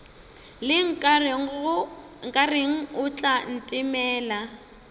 le nkareng o tla ntemela